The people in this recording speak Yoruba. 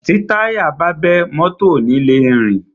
Tí táyà bá bẹ́, mọ́tọ̀ ò ni le rìn.